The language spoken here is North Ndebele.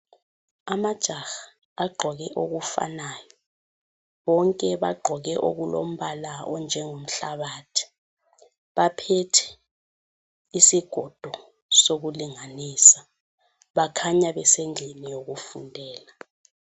Amajaha agqoke okufanayo. Bonke bagqoke okulombala onjengomhlabathi. Baphethe isigodo sokulinganisa, bakhanya besendlini yokufundela.